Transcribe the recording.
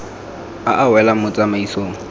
a a welang mo tsamaisong